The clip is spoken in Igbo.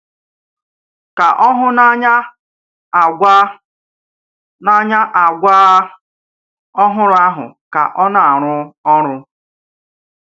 Kà ó hụ n’áńyà àgwà n’áńyà àgwà ọ́hụ̀rụ̀ áhụ̀ ka ọ̀ na àrụ́ ọ̀rụ̀.